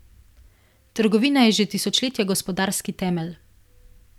Trgovina je že tisočletja gospodarski temelj.